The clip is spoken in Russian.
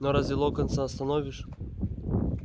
но разве локонса остановишь